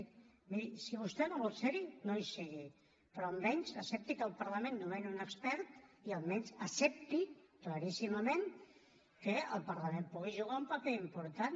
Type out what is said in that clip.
miri si vostè no vol ser hi no hi sigui però almenys accepti que el parlament nomeni un expert i almenys accepti claríssimament que el parlament pugui jugar un paper important